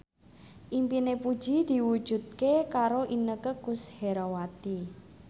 impine Puji diwujudke karo Inneke Koesherawati